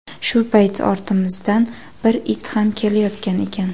Shu payt ortimizdan bir it ham kelayotgan ekan.